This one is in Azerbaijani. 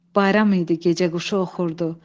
Bayram idi, gecəquşu oxurdu.